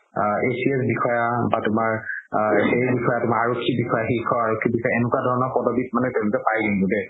আ ACS বিষয়া বা তুমাৰ আ এই বিষয়া তুমাৰ আৰক্ষী বিষয়া এনেকুৱা ধৰণৰ পদপিত তেওলোকে পাই কিন্তু দেই